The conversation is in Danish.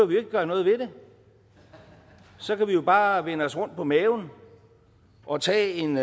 vi jo ikke gøre noget ved det så kan vi jo bare vende os rundt på maven og tage en